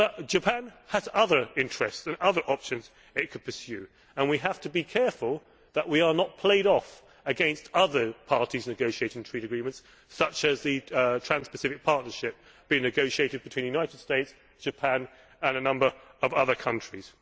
Japan has other interests and other options it can pursue, and we have to be careful that we are not played off against other parties negotiating trade agreements such as the Trans Pacific Partnership being negotiated between the United States, Japan and a number of other countries.